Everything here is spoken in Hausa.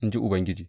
in ji Ubangiji.